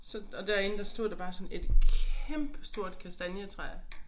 Så og derinde der stod der bare sådan et kæmpestort kastanjetræ